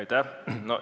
Aitäh!